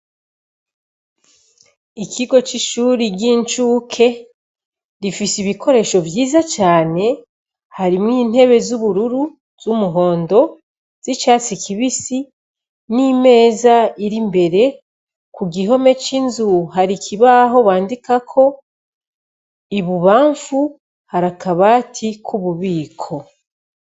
Ikigo c'ishuri ry'incuke rifise ibikoresho vyiza cane harimwo intebe z'ubururu; z'umuhondo; z'icatsi kibisi n'imeza ir'imbere, kugihome c'imbere hari ikibaho bandikako, ibubamfu harakabati k'ububiko.